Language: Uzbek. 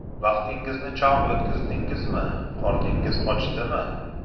Vaqtingizni chog‘ o‘tkazdingizmi, qorningiz ochdimi?